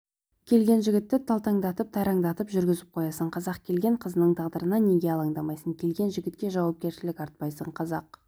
келген жігітті талтаңдатып-тайраңдатып жүргізіп қоясың қазақ келген қызыңның тағдырына неге алаңдамайсың келген жігітке жауапкершілік артпайсың қазақ